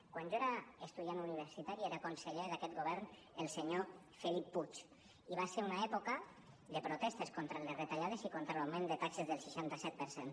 quan jo era estudiant universitari era conseller d’aquest govern el senyor felip puig i va ser una època de protestes contra les retallades i contra l’augment de taxes del seixanta set per cent